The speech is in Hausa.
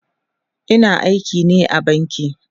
Ina aiki ne a banki